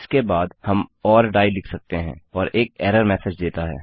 इसके बाद हम ओर डाइ लिख सकते हैं और एक एरर मेसेज देता है